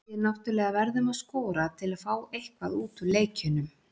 Við náttúrulega verðum að skora til að fá eitthvað út úr leikjunum.